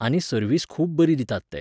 आनी सर्वीस खूब बरी दितात ते.